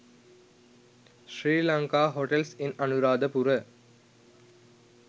sri lanka hotels in anuradhapura